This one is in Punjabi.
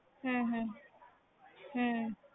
ਹਮ ਹਮ ਹਮ